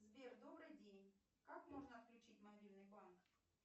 сбер добрый день как можно отключить мобильный банк